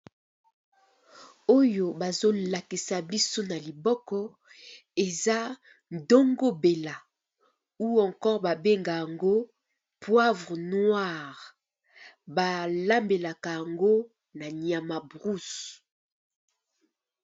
Oyo bazo lakisa biso na liboko eza ndongo mbela ou encore ba benga yango poivre noire, ba lambelaka yango na nyama brousse.